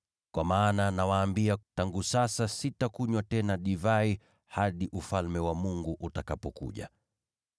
Kwa maana nawaambia tangu sasa sitakunywa tena katika uzao wa mzabibu, hadi Ufalme wa Mungu utakapokuja.”